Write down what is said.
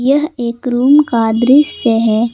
यह एक रूम का दृश्य है।